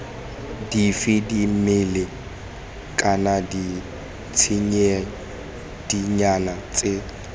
dife dimela kana ditshedinyana tse